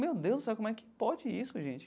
Meu Deus sabe, como é que pode isso, gente?